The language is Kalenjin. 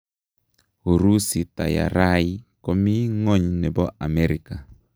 Urusi tayarai komii ngo'ny nepo amerika.